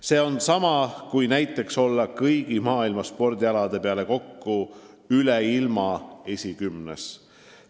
See on sama, kui olla kõigi maailma spordialade peale kokku üle ilma esikümnes.